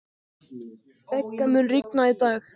Begga, mun rigna í dag?